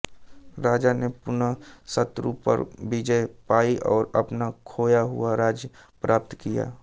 राजा ने पुनः शत्रु पर विजय पायी और अपना खोया हुआ राज्य प्राप्त किया